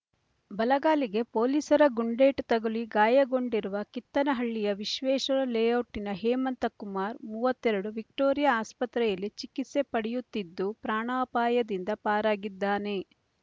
ಬಲಗಾಲಿಗೆ ಪೊಲೀಸರ ಗುಂಡೇಟು ತಗುಲಿ ಗಾಯಗೊಂಡಿರುವ ಕಿತ್ತನಹಳ್ಳಿಯ ವಿಶ್ವೇಶ್ವರ ಲೇಔಟ್‌ನ ಹೇಮಂತ್ ಕುಮಾರ್ ಮೂವತ್ತೆರಡು ವಿಕ್ಟೋರಿಯಾ ಆಸ್ಪತ್ರೆಯಲ್ಲಿ ಚಿಕಿತ್ಸೆ ಪಡೆಯುತ್ತಿದ್ದು ಪ್ರಾಣಾಪಾಯದಿಂದ ಪಾರಾಗಿದ್ದಾನೆ